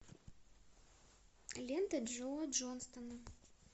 лента джо джонстона